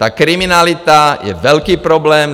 Ta kriminalita je velký problém.